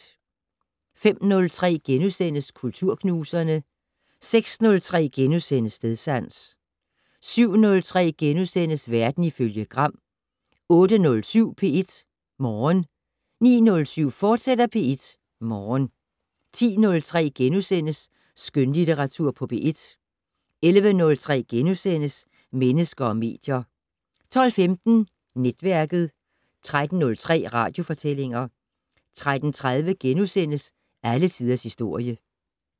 05:03: Kulturknuserne * 06:03: Stedsans * 07:03: Verden ifølge Gram * 08:07: P1 Morgen 09:07: P1 Morgen, fortsat 10:03: Skønlitteratur på P1 * 11:03: Mennesker og medier * 12:15: Netværket 13:03: Radiofortællinger 13:30: Alle tiders historie *